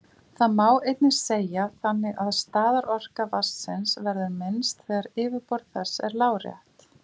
Þetta má einnig segja þannig að staðarorka vatnsins verður minnst þegar yfirborð þess er lárétt.